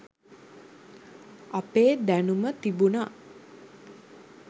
අපේ දැනුම තිබුන